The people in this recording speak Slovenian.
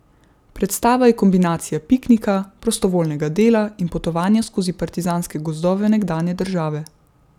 Predstava je kombinacija piknika, prostovoljnega dela in potovanja skozi partizanske gozdove nekdanje države.